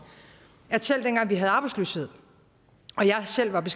at selv dengang vi havde arbejdsløshed og jeg selv var